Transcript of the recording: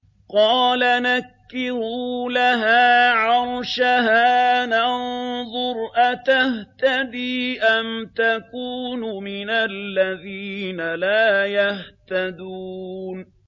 قَالَ نَكِّرُوا لَهَا عَرْشَهَا نَنظُرْ أَتَهْتَدِي أَمْ تَكُونُ مِنَ الَّذِينَ لَا يَهْتَدُونَ